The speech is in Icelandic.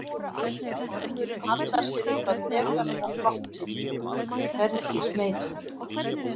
Ormurinn hallar sér upp að drekanum og glottir, hvergi smeykur.